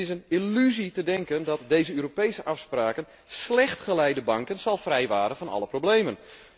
Het is een illusie te denken dat deze Europese afspraken slecht geleide banken zullen vrijwaren van alle problemen.